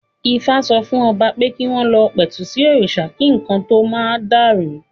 Ifá sọ fún Ọba pé kí wọ́n lọ pẹ̀tù sí òrìṣà kí nǹkan tó ma dàrú